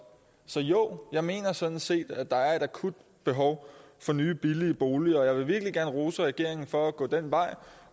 så jo jeg mener sådan set at der er et akut behov for nye billige boliger og jeg vil virkelig gerne rose regeringen for at gå den vej